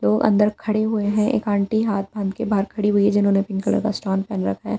लोग अंदर खड़े हुए हैं एक आंटी हाथ बांध के बाहर खड़ी हुई है जिन्होंने पिंक कलर का स्टोन पहन रखा है।